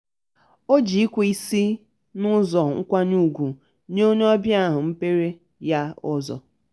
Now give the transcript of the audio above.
o ji ikwe n'isi n'ụzọ nkwanye ugwu nye onye ọbịa ahụ mrpeere ya ụzọ.